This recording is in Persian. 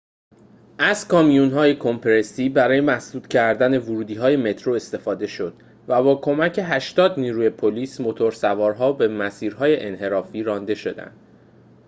از کامیون‌های کمپرسی برای مسدود کردن ورودی‌های مترو استفاده شد و با کمک ۸۰ نیروی پلیس موتورسوارها به مسیرهای انحرافی رانده شدند